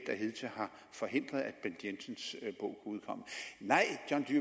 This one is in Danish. der hidtil har forhindret at bent jensens bog udkom nej